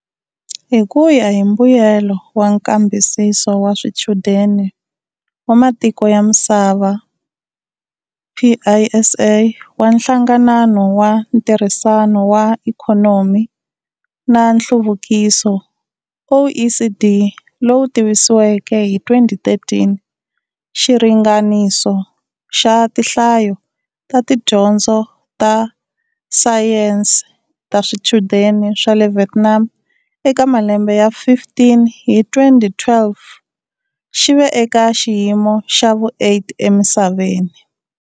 Hi ku ya hi mbuyelo wa Nkambisiso wa Swichudeni wa Matiko ya Misava PISA, wa Nhlanganano wa Ntirhisano wa Ikhonomi na Nhluvukiso OECD, lowu tivisiweke hi 2013, xiringaniso xa tinhlayo ta tidyondzo ta Sayense ta swichudeni swa le Vietnam eka malembe ya 15 hi 2012 xi ve eka xiyimo xa vu-8 emisaveni.